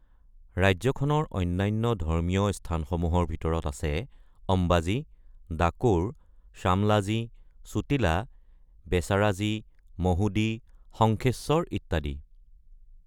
ৰাজ্যখনৰ অন্যান্য ধৰ্মীয় স্থানসমূহৰ ভিতৰত আছে অম্বাজী, ডাকোৰ, শ্বামলাজী, চোটিলা, বেচাৰাজী, মহুদী, শংখেশ্বৰ ইত্যাদি।